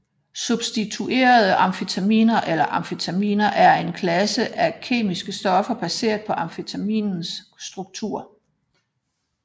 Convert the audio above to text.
Substituerede amfetaminer eller amfetaminer er en klasse af kemiske stoffer baseret på amfetamins struktur